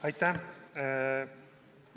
Aitäh!